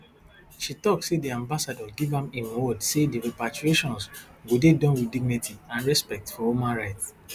she tok say di ambassador give am im word say di repatriations go dey Accepted wit dignity and respect for human rights